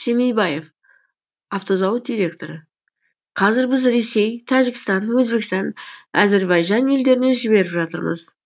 семейбаев автозауыт директоры қазір біз ресей тәжікстан өзбекстан әзербайжан елдеріне жіберіп жатырмыз